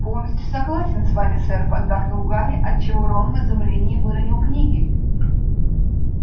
полностью согласен с вами сэр поддакнул гарри отчего рон в изумлении выронил книги